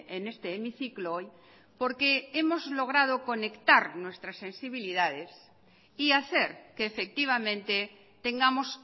en este hemiciclo hoy porque hemos logrado conectar nuestras sensibilidades y hacer que efectivamente tengamos